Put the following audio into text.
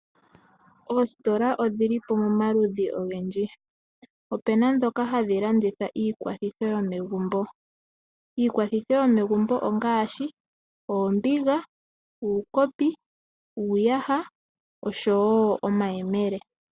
Oositola odhili momaludhi ogendji. Opuna dhoka hadhi landitha iilongitho yomegumbo ngaashi oombiga, uukopi, uuyaha, oshowo oombele.